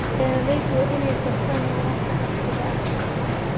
Beeraleydu waa inay bartaan waraabka casriga ah.